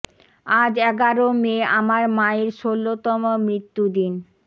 আজ এগারো মে আমার মায়ের ষোলো তম মৃত্যু দিন